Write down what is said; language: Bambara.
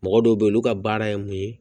Mɔgɔ dɔw be yen olu ka baara ye mun ye